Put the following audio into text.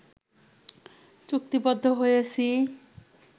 চুক্তিবদ্ধ হয়েছি